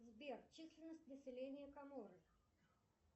сбер численность населения каморы